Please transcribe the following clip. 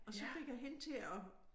Og så fik jeg hende til at